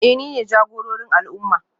Eh nine jagororin al'umma